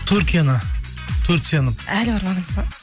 түркияны турцияны әлі бармадыңыз ба